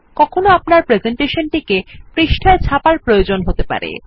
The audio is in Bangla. কখনো আপনার প্রেসেন্টেশন টি পৃষ্ঠায় ছাপার প্রয়োজন হতে পারে